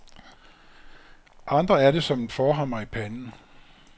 Andre er det som en forhammer i panden.